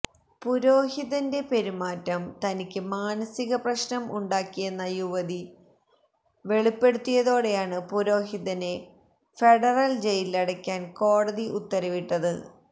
പുരോഹിതന്റെ പെരുമാറ്റം തനിക്ക് മാനസിക പ്രശ്്നം ഉണ്ടാക്കിയെന്ന യുവതി വെളിപ്പെടുത്തിയതോടെയാണ് പുരോഹിതനെ ഫെഡറല് ജയിലിലടക്കാന് കോടതി ഉത്തരവിട്ടത്